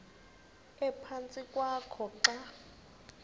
ephantsi kwakho xa